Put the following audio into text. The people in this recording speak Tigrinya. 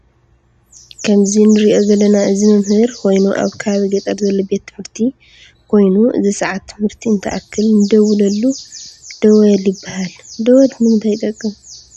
ከምዚ ንርኦ ዘለና እዚ መምህር ኮይኑ አብ ከባቢ ገጠር ዘሎ ቤት ትምህርቲ ከይኑ አዚ ሰዓት ትምህርቲ እንትአክል ንድውለሉ ደወል ይበሃል ። ደወል ንምታይ ይጠቅም?